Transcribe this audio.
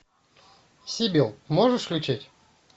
сибил можешь включить